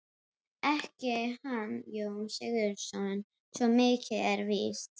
Ekki hann Jón Sigurðsson, svo mikið er víst.